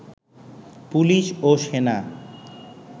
police ও সেনা